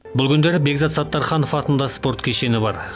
бұл күндері бекзат саттарханов атында спорт кешені бар